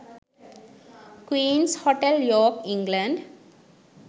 queens hotel york england